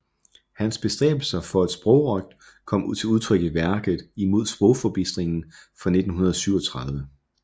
Hans bestræbelser for sprogrøgt kom til udtryk i værket Imod sprogforbistringen fra 1937